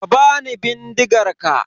Ka bani bindigar ka.